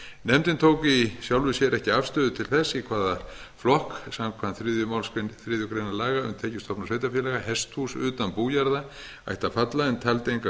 nefndin tók í sjálfu sér ekki afstöðu til þess í hvaða flokk samkvæmt þriðju málsgrein þriðju grein laga um tekjustofna sveitarfélaga hesthús utan bújarða ættu að falla en taldi engu